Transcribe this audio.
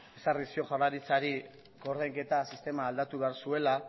ezarri zion jaurlaritzari koordainketa sistema aldatu behar zuela